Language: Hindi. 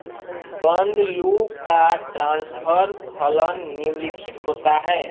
बन्द लूप का ट्रान्सफर फलन निम्नलिखित होता है